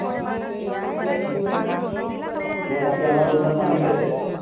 , দিয়া এতিয়া আমাৰ ওম্ৰান মালিক আছে